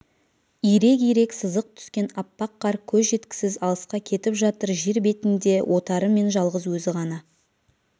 ирек-ирек сызық түскен аппақ қар көз жеткісіз алысқа кетіп жатыр жер бетінде отарымен жалғыз өзі ғана